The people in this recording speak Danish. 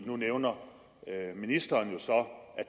nu nævner ministeren jo så